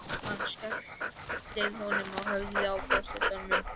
Hann skellir honum á höfuðið á forsetanum.